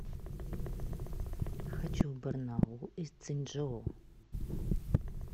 хочу в барнаул из цзинчжоу